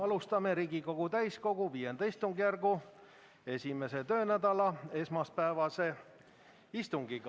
Alustame Riigikogu täiskogu V istungjärgu esimese töönädala esmaspäevast istungit.